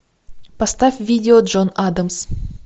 поставь видео джон адамс